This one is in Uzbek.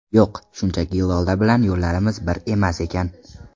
Yo‘q, shunchaki Lola bilan yo‘llarimiz bir emas ekan.